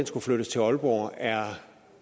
skulle flyttes til aalborg er